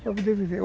Para poder viver.